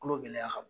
Kolo gɛlɛya ka bon